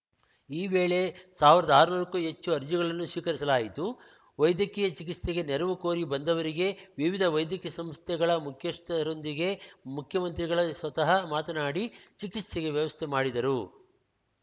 ಈ ವೇಳೆ ಸಾವಿರದ ಆರ್ನೂರಕ್ಕೂ ಹೆಚ್ಚು ಅರ್ಜಿಗಳನ್ನು ಸ್ವೀಕರಿಸಲಾಯಿತು ವೈದ್ಯಕೀಯ ಚಿಕಿತ್ಸೆಗೆ ನೆರವು ಕೋರಿ ಬಂದವರಿಗೆ ವಿವಿಧ ವೈದ್ಯಕೀಯ ಸಂಸ್ಥೆಗಳ ಮುಖ್ಯಸ್ಥರೊಂದಿಗೆ ಮುಖ್ಯಮಂತ್ರಿಗಳೇ ಸ್ವತಃ ಮಾತನಾಡಿ ಚಿಕಿತ್ಸೆಗೆ ವ್ಯವಸ್ಥೆ ಮಾಡಿದರು